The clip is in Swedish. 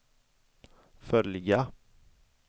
följa